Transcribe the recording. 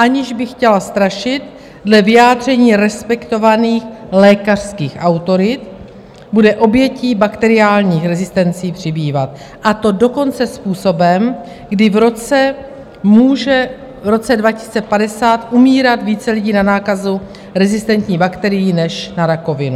Aniž bych chtěla strašit, dle vyjádření respektovaných lékařských autorit bude obětí bakteriálních rezistencí přibývat, a to dokonce způsobem, kdy v roce 2050 může umírat více lidí na nákazu rezistentní bakterií než na rakovinu.